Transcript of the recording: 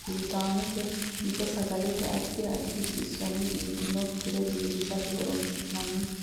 buutaamete mite sagalete addi addi xisonna biinfokkire biifisate horoonsi'nannite